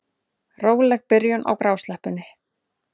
Róleg byrjun á grásleppunni